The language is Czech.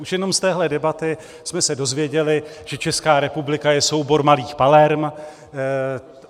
Už jenom z téhle debaty jsme se dozvěděli, že Česká republika je soubor malých Palerm.